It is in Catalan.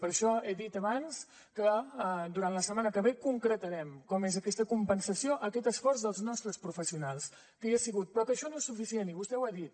per això he dit abans que durant la setmana que ve concretarem com és aquesta compensació aquest esforç dels nostres professionals que hi ha sigut però que això no és suficient i vostè ho ha dit